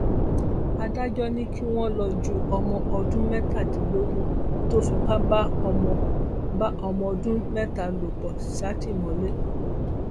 adájọ ni kí wọn lọọ ju ọmọ ọdún mẹtàdínlógún tó fipá bá ọmọ bá ọmọ ọdún mẹta lò pọ sátìmọlé